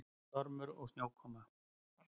Stormur og snjókoma.